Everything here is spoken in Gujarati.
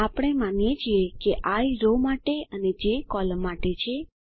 આપણે માનીએ છીએ કેi રો માટે અને જે કૉલમ માટે છે